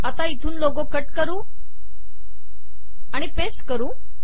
आता इथून logo cut आणि पेस्ट करू